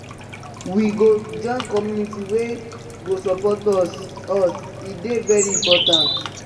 we go join community wey go support us us e dey very important.